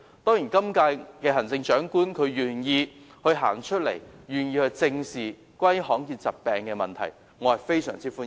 當然，現任行政長官願意走出來正視罕見疾病的問題，我對此表示非常歡迎。